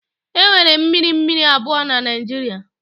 Enwere mmiri mmiri abụọ na Naijiria.